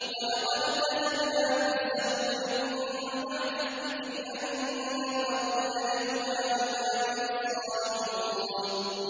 وَلَقَدْ كَتَبْنَا فِي الزَّبُورِ مِن بَعْدِ الذِّكْرِ أَنَّ الْأَرْضَ يَرِثُهَا عِبَادِيَ الصَّالِحُونَ